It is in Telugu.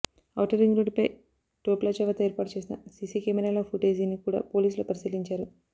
ఔటర్ రింగు రోడ్డుపై టోల్ ప్లాజా వద్ద ఏర్పాటు చేసిన సిసి కెమెరాల ఫుటేజీని కూడా పోలీసులు పరిశీలించారు